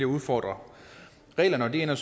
udfordre reglerne og det ender